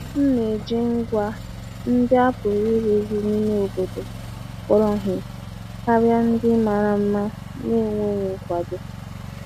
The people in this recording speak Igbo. M na-eji ngwa ndị a pụrụ ịrụzi n'ime obodo kpọrọ ihe karịa ndị mara mma na-enweghị nkwado.